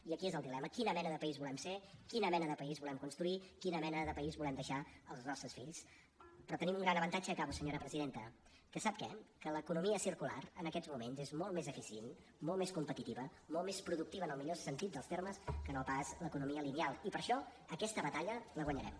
i aquí és el dilema quina mena de país volem ser quina mena de país volem construir quina mena de país volem deixar als nostres fills però tenim un gran avantatge i acabo senyora presidenta que sap què que l’economia circular en aquests moments és molt més eficient molt més competitiva molt més productiva en el millor sentit dels termes que no pas l’economia lineal i per això aquesta batalla la guanyarem